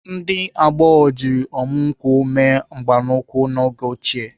Ndị agbọghọ jiri ọmụ nkwụ mee mgbanụkwụ n'oge ochie.